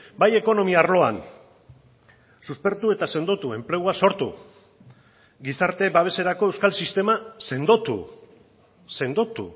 bai ekonomia arloan suspertu eta sendotu enplegua sortu gizarte babeserako euskal sistema sendotu sendotu